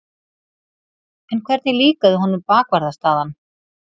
En hvernig líkaði honum bakvarðarstaðan?